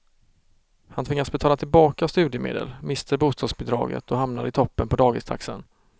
Han tvingas betala tillbaka studiemedel, mister bostadsbidraget och hamnar i toppen på dagistaxan.